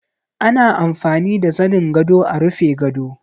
Ana amfani da zanin gado a rufe gado